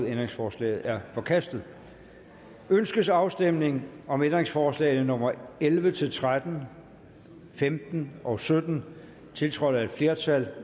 ændringsforslaget er forkastet ønskes afstemning om ændringsforslag nummer elleve til tretten femten og sytten tiltrådt af et flertal